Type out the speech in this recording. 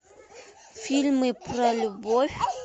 фильмы про любовь